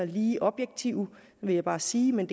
lige objektive vil jeg bare sige men